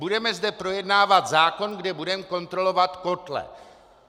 Budeme zde projednávat zákon, kde budeme kontrolovat kotle.